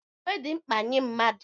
Uwe dị mkpa nye mmadụ.